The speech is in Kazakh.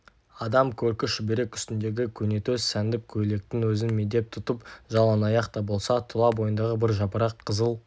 адам көркі шүберек үстіндегі көнетоз сәндіп көйлектің өзін медет тұтып жалаңаяқ та болса тұла бойындағы бір жапырақ қызыл